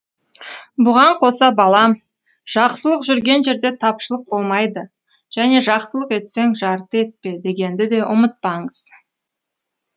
бұған қоса балам жақсылық жүрген жерде тапшылық болмайды және жақсылық етсең жарты етпе дегенді де ұмытпаңыз